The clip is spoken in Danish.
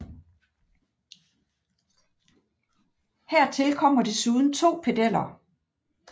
Her til kommer desuden 2 pedeller